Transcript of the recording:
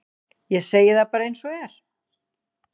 Ég segi það bara eins og er.